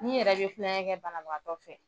Ni yɛrɛ bɛ tuonkɛ kɛ banaanagatɔ fɛ